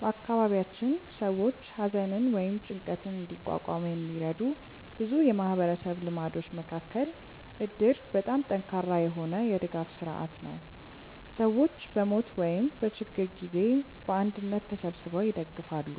በአካባቢያችን ሰዎች ሐዘንን ወይም ጭንቀትን እንዲቋቋሙ የሚረዱ ብዙ የማህበረሰብ ልማዶች መካከል እድር በጣም ጠንካራ የሆነ የድጋፍ ስርዓት ነው፤ ሰዎች በሞት ወይም በችግር ጊዜ በአንድነት ተሰብስበው ይደግፋሉ፣